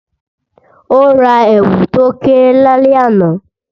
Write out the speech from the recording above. O ra èwù to kéré lálẹ́ àná